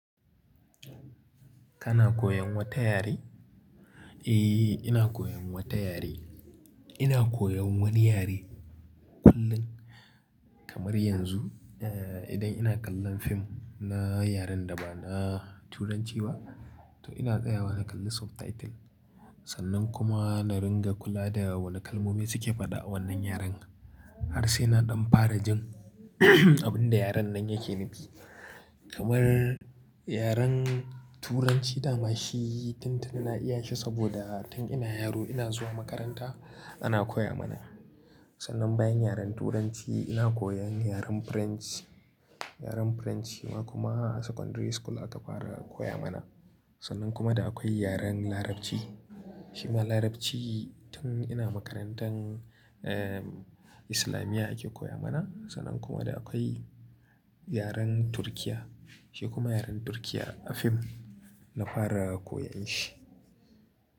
Kana koyan wata yare? Eh, ina koyan wata yare. Ina koyan wani yare kullum kamar yanzu, eh, idan ina kallon fim na yaren da ba na Turanci ba, to ina tsayawa na kalli subtitle. Sannan kuma na ringa kula da wane kalmomi suke faɗa a wannan yaren. Har sai na ɗan fara jin abin da yaren nan yake nufi. Kamar yaren Turanci dama shi tuntuni na iya shi saboda tun ina yaro ina zuwa makaranta ana koya mana. Sannan bayan yaren Turanci ina koyan yaren French. Yaren French shima kuma a secondary school aka fara koya mana. Sannan kuma da akwai yaren Larabci. Shima Larabci tun ina makarantar, eh, Islamiyya ake koya mana. Sannan kuma da akwai yaren Turkiyya. Shi kuma yaren Turkiyya a fim na fara koyan shi.